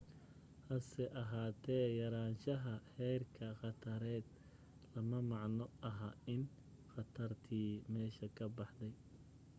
hase ahaatee yaraanshaha heerka khatareed lama macno aha in khatartii meesha ka baxday